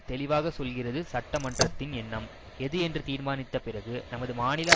தெளிவாகச் சொல்கிறது சட்டமன்றத்தின் எண்ணம் எது என்று தீர்மானித்த பிறகு நமது மாநில